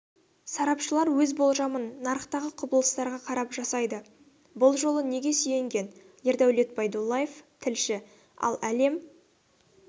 сарапшылар өз болжамын нарықтағы құбылыстарға қарап жасайды бұл жолы неге сүйенген ердәулет байдуллаев тілші ал әлем